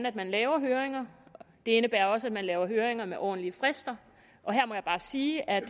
at man laver høringer det indebærer også at man laver høringer med ordentlige frister her må jeg bare sige at